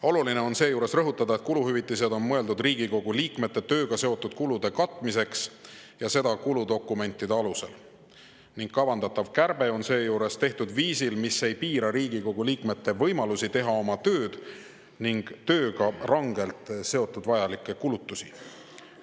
Oluline on seejuures rõhutada, et kuluhüvitised on mõeldud Riigikogu liikmete tööga seotud kulude katmiseks, seda kuludokumentide alusel, ning kavandatav kärbe on seejuures tehtud viisil, mis ei piira Riigikogu liikmete võimalusi teha oma tööd ning tööga rangelt seotud vajalikke kulutusi.